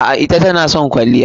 A'a, ita tana son kwalliya.